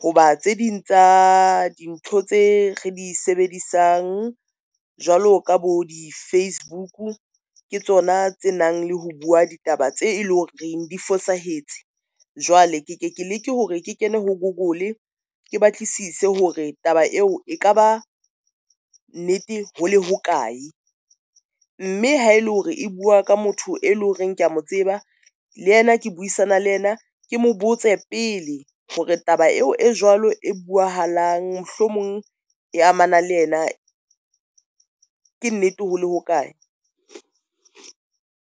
ho ba tse ding tsa dintho tse re di sebedisang, jwalo ka bo di-Facebook ke tsona tse nang le ho bua ditaba tse eleng hore re di fosahetse. Jwale ke ke keleke hore ke kene ho Google. Ke batlisise hore taba eo e ka ba nnete hole hokae, mme ha ele hore e bua ka motho e leng horeng kea mo tseba le yena, ke buisana le yena, ke mo botse pele hore taba eo e jwalo e buwahalang mohlomong e amanang le yena, ke nnete hole hokae.